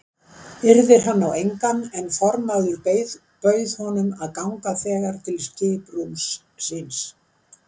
Yrðir hann á engan en formaður bauð honum að ganga þegar til skiprúms síns.